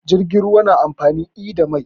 jirgin ruwa yana amfani i da Mai